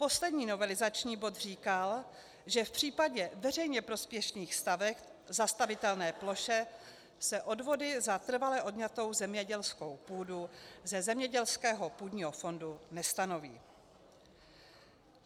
Poslední novelizační bod říkal, že v případě veřejně prospěšných staveb v zastavitelné ploše se odvody za trvale odňatou zemědělskou půdu ze zemědělského půdního fondu nestanoví.